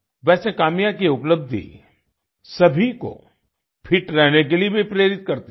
वैसे काम्या की उपलब्धि सभी को फिट रहने के लिए भी प्रेरित करती है